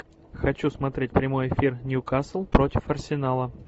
хочу смотреть прямой эфир ньюкасл против арсенала